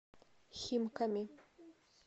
химками